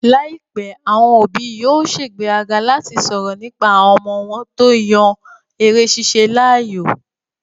Láìpẹ́, àwọn òbí yóò sègbéraga láti sọ̀rọ̀ nípa àwọn ọmọ wọn tó yan eré ṣíṣe láàyò